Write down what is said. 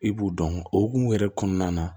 I b'u dɔn o hokumu yɛrɛ kɔnɔna na